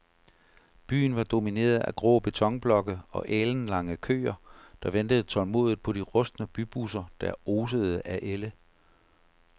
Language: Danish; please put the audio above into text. Byen var domineret af grå betonblokke og alenlange køer, der ventede tålmodigt på de rustne bybusser, der osede af ælde.